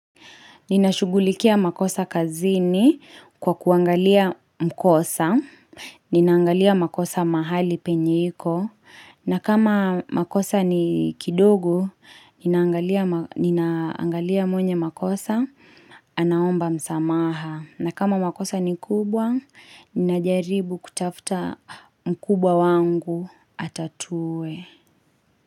Ninashugulikia makosa kazini kwa kuangalia mkosa, ninangalia makosa mahali penye iko, na kama makosa ni kidogo, ninaangalia mwenye makosa anaomba msamaha. Na kama makosa ni kubwa, ninajaribu kutafuta mkubwa wangu atatuwe.